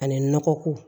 Ani nɔgɔ ko